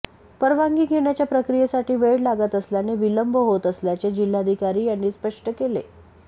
परवानगी घेण्याच्या प्रक्रियेसाठी वेळ लागत असल्याने विलंब होत असल्याचे जिल्हाधिकारी यांनी स्पष्ट केले